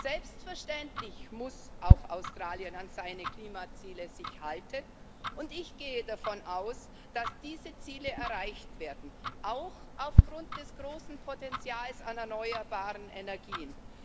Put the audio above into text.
Selbstverständlich muss sich auch Australien an seine Klimaziele halten, und ich gehe davon aus, dass diese Ziele erreicht werden, auch aufgrund des großen Potenzials an erneuerbaren Energien.